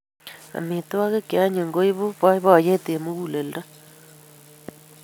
Amitwogik che anyiny koipu boiboiyet eng muguleldo